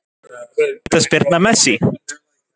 Vítaspyrna Messi?